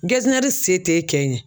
se t'e kɛ in ye